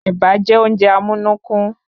Ẹ̀bà jẹ́ oúnjẹ amúnúkún